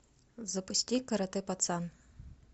запусти карате пацан